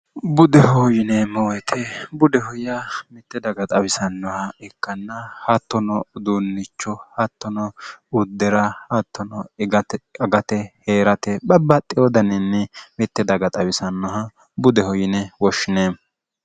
budeho yine mooete budehoyya mitte daga xawisannoha ikkanna hattono uduunnicho hattono uddi'ra hattono agate hee'rate babbaxxi wodaniinni mitte daga xawisannoha budeho yine woshshine